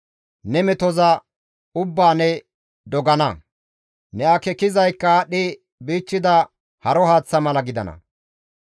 Ne metoza ubbaa ne dogana; ne akeekizaykka aadhdhi bichchida haro haaththa mala gidana.